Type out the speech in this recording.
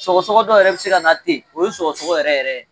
Sɔgɔsɔgɔ dɔ yɛrɛ bɛ se ka na ten o ye sɔgɔsɔgɔ yɛrɛ yɛrɛ